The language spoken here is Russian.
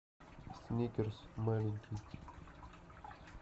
сникерс маленький